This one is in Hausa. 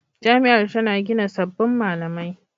Jami'ar tana gina sabbin malamai.